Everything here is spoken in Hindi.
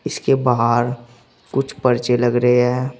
इसके बाहर कुछ पर्चे लग रहे हैं।